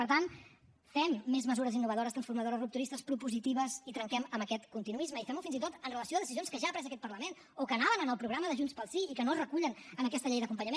per tant fem més mesures innovadores transformadores rupturistes propositives i trenquem amb aquest continuisme i fem ho fins i tot amb relació a decisions que ha pres aquest parlament o que anaven en el programa de junts pel sí i que no es recullen en aquesta llei d’acompanyament